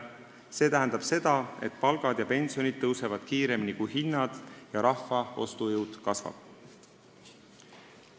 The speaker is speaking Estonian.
See tähendab, et palgad ja pensionid tõusevad kiiremini kui hinnad ning rahva ostujõud kasvab.